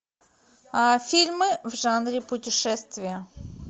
фильмы в жанре путешествия